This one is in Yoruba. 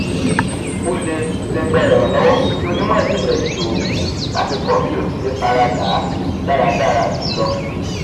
o le le gba iranlọwọ ti onimọ-jinlẹ iṣoogun lati kọ bi o tile farada daradara ju lo